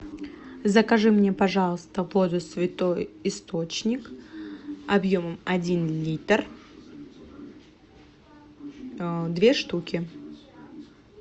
закажи мне пожалуйста воду святой источник объемом один литр две штуки